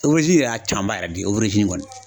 yɛrɛ y'a camanba yɛrɛ di kɔni.